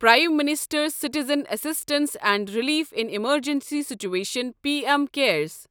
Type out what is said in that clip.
prime minister's citizen assistance and relief in emergency situation P M CARES